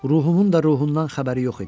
Ruhumun da ruhundan xəbəri yox idi.